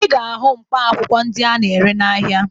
Ị ga-ahụ mkpaakwụkwọ ndị a na-ere n'ahịa